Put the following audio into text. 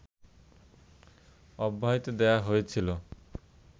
অব্যাহতি দেওয়া হয়েছিল